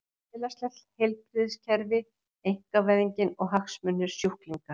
Félagslegt heilbrigðiskerfi, einkavæðingin og hagsmunir sjúklinga.